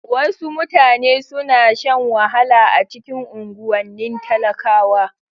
Wasu mutane suna shan wahala a cikin unguwannin talakawa.